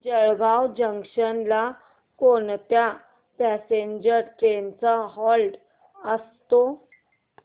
Jalgaon junction ला कोणत्या passenger trains चा हॉल्ट असतो